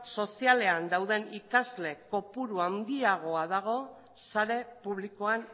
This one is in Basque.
sozialean dauden ikasle kopurua handiagoa dago sare publikoan